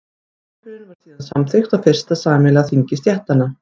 tilskipunin var síðan samþykkt á fyrsta sameiginlega þingi stéttanna